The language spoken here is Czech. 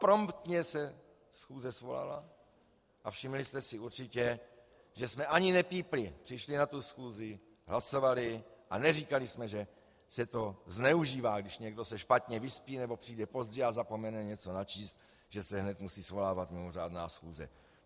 Promptně se schůze svolala a všimli jste si určitě, že jsme ani nepípli, přišli na tu schůzi, hlasovali a neříkali jsme, že se to zneužívá, když se někdo špatně vyspí nebo přijde pozdě a zapomene něco načíst, že se hned musí svolávat mimořádná schůze.